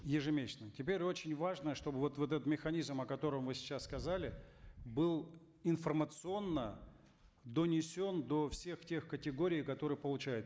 ежемесячно теперь очень важно чтобы вот вот этот механизм о котором вы сейчас сказали был информационно донесен до всех тех категорий которые получают